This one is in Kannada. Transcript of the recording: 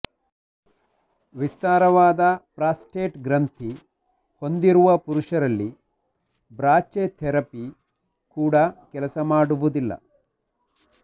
ವಿಸ್ತಾರವಾದ ಪ್ರಾಸ್ಟೇಟ್ ಗ್ರಂಥಿ ಹೊಂದಿರುವ ಪುರುಷರಲ್ಲಿ ಬ್ರಾಚಿಥೆರಪಿ ಕೂಡ ಕೆಲಸ ಮಾಡುವುದಿಲ್ಲ